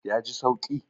Ya ji sauki?